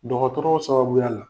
Dɔgɔtɔrɔw sababuya la